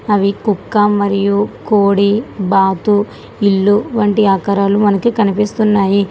అవి కుక్క మరియు కోడి బాతు ఇల్లు వంటి ఆకరాలు మనకి కనిపిస్తున్నాయి.